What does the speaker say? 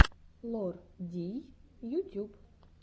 лор дий ютюб